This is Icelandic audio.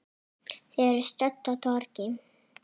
Þau eru stödd á torgi.